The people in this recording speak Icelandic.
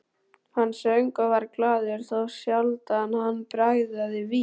Hann söng og var glaður, þá sjaldan hann bragðaði vín.